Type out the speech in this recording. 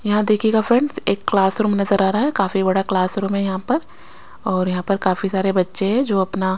यहां देखिएगा फ्रेंड्स एक क्लास रूम नजर आ रहा है काफी बड़ा क्लासरूम है यहां पर और यहां पर काफी सारे बच्चे है जो अपना--